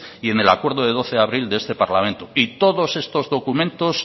y en el acuerdo del doce de abril de este parlamento y todos estos documentos